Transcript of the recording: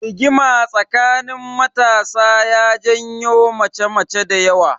Rigima tsakanin matasa ya janyo mace mace dayawa